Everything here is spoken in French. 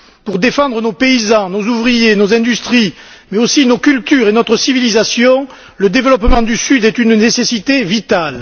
Pour défendre nos paysans, nos ouvriers, nos industries mais aussi nos cultures et notre civilisation, le développement du Sud est une nécessité vitale.